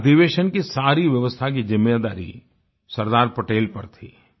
अधिवेशन की सारी व्यवस्था की जिम्मेदारी सरदार पटेल पर थी